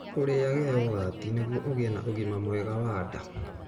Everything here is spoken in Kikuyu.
Ũrĩage yogati nĩguo ũgĩe na ũgima mwega wa nda.